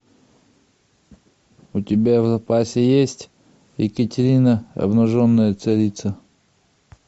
у тебя в запасе есть екатерина обнаженная царица